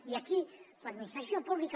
i aquí l’administració pública